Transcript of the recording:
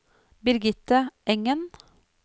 Birgitte Engen